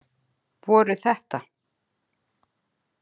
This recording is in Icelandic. Voru þetta.